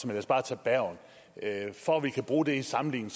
lad os bare tage bergen for at vi kan bruge det i en sammenligning